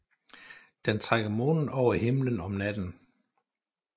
Den trækker månen over himlen om natten